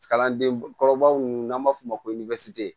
Kalandenkɔrɔbaw n'an b'a f'o ma ko